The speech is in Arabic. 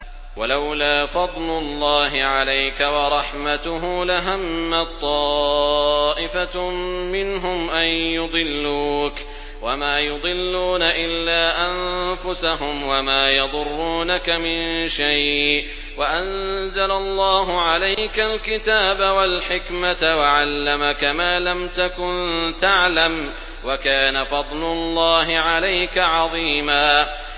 وَلَوْلَا فَضْلُ اللَّهِ عَلَيْكَ وَرَحْمَتُهُ لَهَمَّت طَّائِفَةٌ مِّنْهُمْ أَن يُضِلُّوكَ وَمَا يُضِلُّونَ إِلَّا أَنفُسَهُمْ ۖ وَمَا يَضُرُّونَكَ مِن شَيْءٍ ۚ وَأَنزَلَ اللَّهُ عَلَيْكَ الْكِتَابَ وَالْحِكْمَةَ وَعَلَّمَكَ مَا لَمْ تَكُن تَعْلَمُ ۚ وَكَانَ فَضْلُ اللَّهِ عَلَيْكَ عَظِيمًا